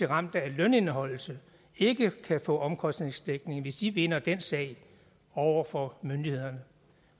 ramt af lønindeholdelse ikke kan få omkostningsdækning hvis vedkommende vinder den sag over for myndighederne